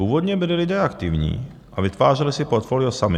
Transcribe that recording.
Původně byli lidé aktivní a vytvářeli si portfolio sami.